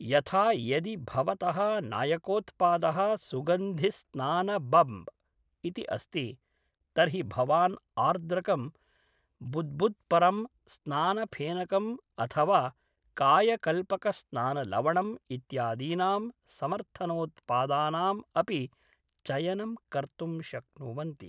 यथा यदि भवतः नायकोत्पादः सुगन्धिस्नानबम्ब् इति अस्ति, तर्हि भवान् आर्द्रकं बुद्बुद्परं स्नानऴेनकम् अथ वा कायकल्पकस्नानलवणम् इत्यादीनां समर्थनोत्पादानाम् अपि चयनं कर्तुं शक्नुवन्ति।